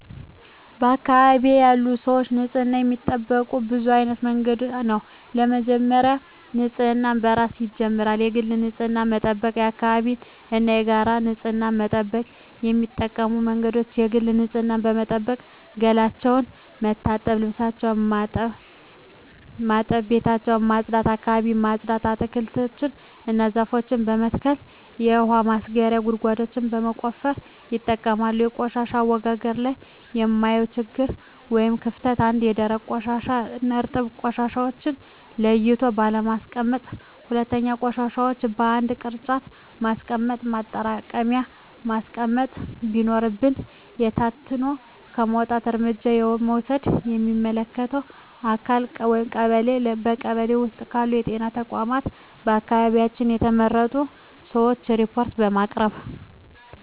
በአካባቢዬ ያሉ ሰዎች ንፅህናቸውን የሚጠብቁት በብዙ አይነት መንገድ ነው በመጀመሪያ ንፅህና ከራስ ይጀምራል የግል ንፅህናን በመጠበቅ የአካባቢን እና የጋራ ንፅህና መጠበቅ። የሚጠቀሙበት መንገድ የግል ንፅህናቸውን በመጠበቅ ገላቸውን መታጠብ ልብሳቸውን ማጠብ ቤታቸውን ማፅዳት አካባቢያቸውን ማፅዳት። አትክልቶችን እና ዛፎችን በመትከል የውሀ ማስረጊያ ጉድጓዶችን በመቆፈር ይጠቀማሉ። በቆሻሻ አወጋገድ ላይ የማየው ችግር ወይም ክፍተት 1ኛ, ደረቅና እርጥብ ቆሻሻዎችን ለይቶ ባለማስቀመጥ 2ኛ, ቆሻሻዎችን በአንድ የቅርጫት ማስቀመጫ ማጠራቀሚያ ማስቀመጥ ሲኖርብን በታትኖ በመጣል። እርምጃ ለመውሰድ ለሚመለከተው አካል ለቀበሌ ,በቀበሌ ውስጥ ባሉ ጤና ተቋማት በአካባቢያችን በተመረጡ ሰዎች ሪፓርት በማቅረብ።